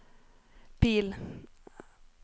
bil